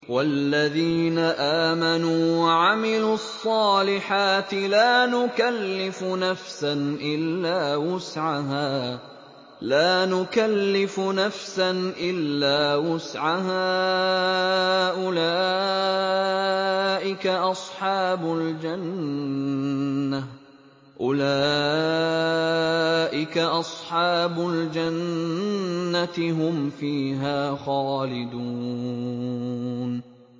وَالَّذِينَ آمَنُوا وَعَمِلُوا الصَّالِحَاتِ لَا نُكَلِّفُ نَفْسًا إِلَّا وُسْعَهَا أُولَٰئِكَ أَصْحَابُ الْجَنَّةِ ۖ هُمْ فِيهَا خَالِدُونَ